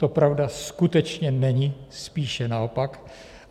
To pravda skutečně není, spíše naopak.